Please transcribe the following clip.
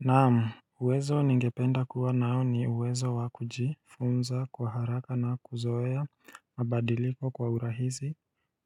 Naam, uwezo ni ngependa kuwa nao ni uwezo wakujifunza kwa haraka na kuzoea mabadiliko kwa urahisi